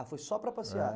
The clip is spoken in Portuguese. Ah, foi só para passear? É.